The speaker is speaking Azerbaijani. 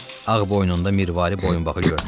Ağ boynunda mirvari boyunbağı görünürdü.